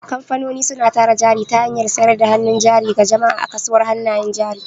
Kamfanoni suna tara jari ta hanyar sayar da hannun jari ga jama'a a kasuwar hannayen jari.